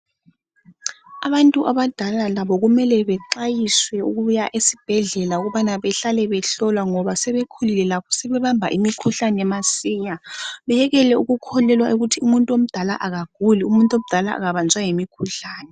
Abantu abadala labo kumele bexwayiswe ukuya esibhedlela ukubana behlale behlolwa ngoba sebekhulile sebebamba imikhuhlane masinya beyekele ukukholelwa ukuthi umuntu omdala akaguli, umuntu omdala akabanjwa yimikhuhlane